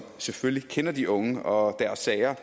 selvfølgelig kender de unge og deres sager